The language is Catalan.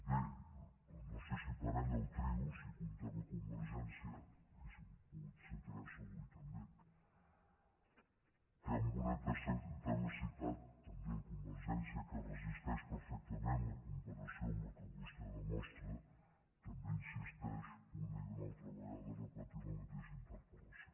bé no sé si parella o trio si hi comptem convergència hauríem pogut ser tres avui també que amb una tenacitat també convergència que resisteix perfectament la comparació amb la que vostè demostra també insisteix una i una altra vegada a repetir la mateixa interpel·lació